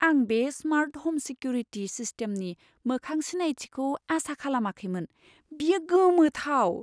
आं बे smart home security सिस्टेमनि मोखां सिनायथिखौ आसा खालामाखैमोन। बेयो गोमोथाव!